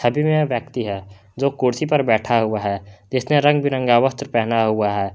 दिन या व्यक्ति है जो कुर्सी पर बैठा हुआ है जिसने रंग बिरंगा वस्त्र पहना हुआ है।